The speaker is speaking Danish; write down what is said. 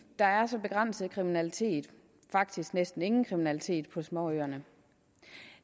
der er så begrænset kriminalitet faktisk næsten ingen kriminalitet på småøerne